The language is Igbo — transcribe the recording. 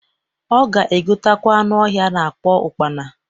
Ọ ga egotekwa anụ ọhịa a na-akpọ ụkpana.